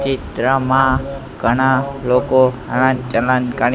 ચિત્રમાં ઘણા લોકો હલન ચલન કરે--